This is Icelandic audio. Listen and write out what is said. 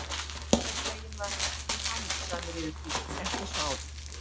En einhvern veginn var hann ekkert mjög hamingjusamur yfir því, ekki eins og áður.